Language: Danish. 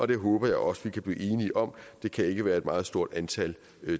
det håber jeg også vi kan blive enige om det kan ikke være et meget stort antal